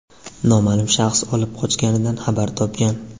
noma’lum shaxs olib qochganidan xabar topgan.